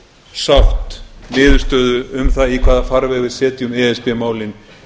sátt niðurstöðu um það í hvaða farveg við setjum e s b málin